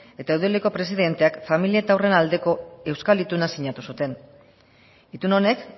eta eudeleko presidenteak familia eta haurren aldeko euskal ituna sinatu zuten itun honek